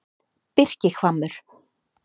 Birkihvammur